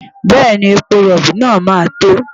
Bẹ́ẹ̀ni, epo rọ̀bì náà máa tó.